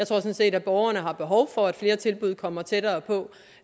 sådan set borgerne har behov for at flere tilbud kommer tættere på